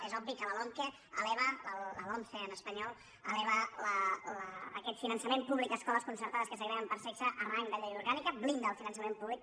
és obvi que la lomqe la lomce en espanyol eleva aquest finançament públic a escoles concertades que segreguen per sexe a rang de llei orgànica blinda el finançament públic